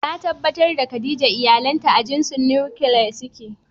Na tabbatar da Khadijah iyalanta a jinsin "Nuclear" suke.